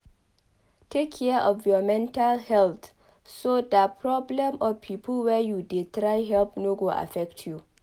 Take care of your mental health so dat problem of pipo wey you dey try help no go affect you